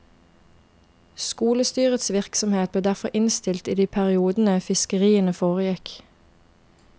Skolestyrets virksomhet ble derfor innstilt i de periodene fiskeriene foregikk.